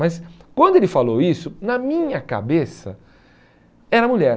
Mas quando ele falou isso, na minha cabeça, era mulher.